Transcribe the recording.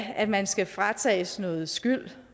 at man skal fratages noget skyld